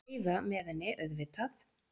Og Heiða með henni, auðvitað.